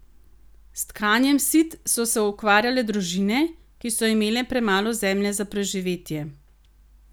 S tkanjem sit so se ukvarjale družine, ki so imele premalo zemlje za preživetje.